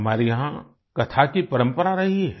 हमारे यहाँ कथा की परंपरा रही है